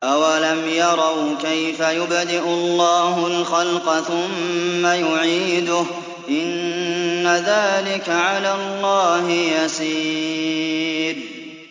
أَوَلَمْ يَرَوْا كَيْفَ يُبْدِئُ اللَّهُ الْخَلْقَ ثُمَّ يُعِيدُهُ ۚ إِنَّ ذَٰلِكَ عَلَى اللَّهِ يَسِيرٌ